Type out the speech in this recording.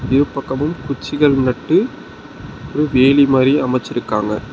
இரு பக்கமும் குச்சிகள் நட்டு ஒரு வேலி மாரி அமச்சிருக்காங்க.